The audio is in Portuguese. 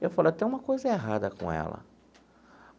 Eu falei, tem uma coisa errada com ela.